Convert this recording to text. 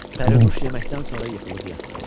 Pərinüş yeməkdən sonra yıxılıb yatdı.